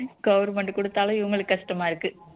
government கொடுத்தாலும் இவங்களுக்கு கஷ்டமா இருக்கு